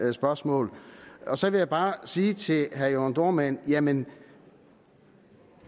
det spørgsmål så vil jeg bare sige til herre jørn dohrmann jamen